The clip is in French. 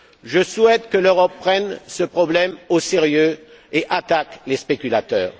Je souhaite que l'Europe prenne ce problème au sérieux et attaque les spéculateurs.